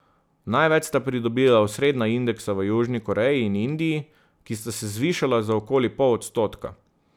Največ sta pridobila osrednja indeksa v Južni Koreji in Indiji, ki sta se zvišala za okoli pol odstotka.